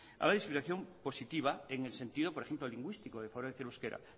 habla de discriminación positiva en el sentido por ejemplo lingüístico de el euskera